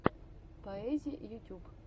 поэзи ютюб